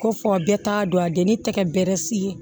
Ko fɔ a bɛɛ t'a dɔn a den ni tɛgɛ bɛ bɛrɛ se